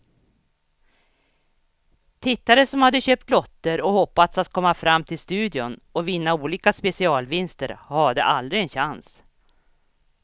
Tittare som hade köpt lotter och hoppats att komma fram till studion och vinna olika specialvinster hade aldrig en chans.